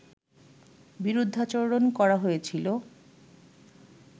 বিরুদ্ধাচরণ করা হয়েছিল